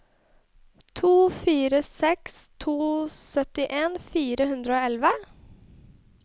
to fire seks to syttien fire hundre og elleve